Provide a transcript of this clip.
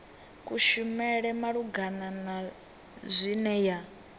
kushumele malugana na zwine ya